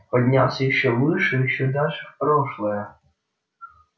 поднялся ещё выше ещё дальше в прошлое